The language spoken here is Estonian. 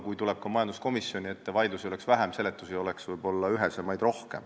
Kui tullakse majanduskomisjoni ette, võiks vaidlusi olla vähem ja seletused ühesemad.